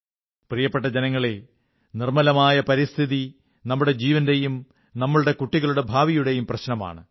പ്രിയപ്പെട്ട ജനങ്ങളേ നിർമ്മലമായ പരിസ്ഥിതി നമ്മുടെ ജീവന്റെയും നമ്മുടെ കുട്ടികളുടെ ഭാവിയുടെയും പ്രശ്നമാണ്